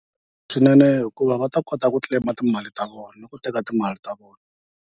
Swinene hikuva va ta kota ku claim-a timali ta vona niku teka timali ta vona.